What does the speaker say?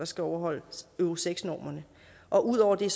skal overholde euro seks normerne og ud over det